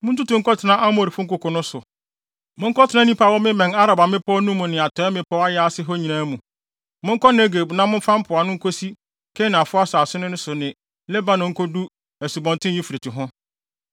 Muntutu nkɔtena Amorifo nkoko no so; monkɔtena nnipa a wɔbemmɛn Araba mmepɔw no mu ne atɔe mmepɔw ayaase hɔ nyinaa mu; monkɔ Negeb na momfa mpoano nkosi Kanaanfo asase so ne Lebanon nkodu Asubɔnten Eufrate ho.